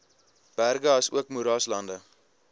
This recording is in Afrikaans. berge asook moeraslande